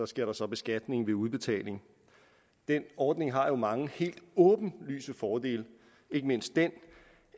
sker der så beskatning ved udbetaling den ordning har jo mange helt åbenlyse fordele ikke mindst den